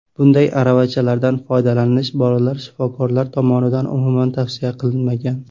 Bunday aravachalardan foydalanish bolalar shifokorlari tomonidan umuman tavsiya qilinmagan.